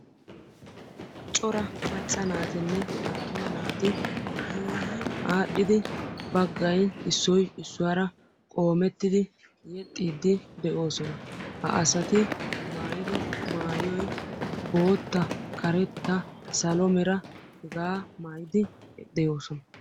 cora macca naatinne attuma naati yuuyyi aadhdhidi baggay issoy issuwaara qoomettida yexxide de'oosona; ha asati maayyido maayoy bootta, karetta, salo mera hega maayyidi de'oosona.